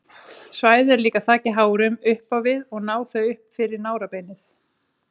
Svæðið er líka þakið hárum upp á við og ná þau upp fyrir nárabeinið.